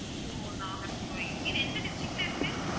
ஓ நாகர்கோவில் இது என்ன district ல இருக்கு